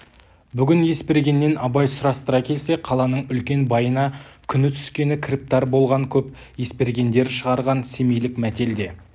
бүгін есбергеннен абай сұрастыра келсе қаланың үлкен байына күні түскен кіріптар болған көп есбергендер шығарған семейлік мәтел де